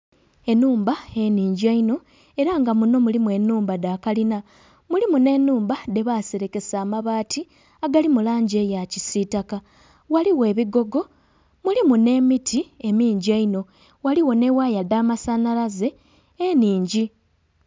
Enhumba eningi einho era nga muno mulimu enhumba dha kalina, mulimu ne nhumba dhe baserekesa amabaati agali mulangi eya kisitaka. Ghaligho ebigogo mulimu nhe miti emingi eihno. Ghaligho ne waaya dha masanalaze eningi